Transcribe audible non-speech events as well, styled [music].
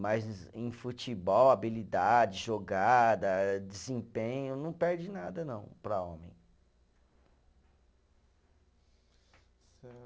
Mas em futebol, habilidade, jogada, desempenho, não perde nada, não, para homem. [unintelligible]